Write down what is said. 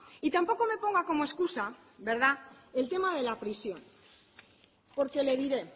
y tampoco me ponga como escusa verdad el tema de la prisión porque le diré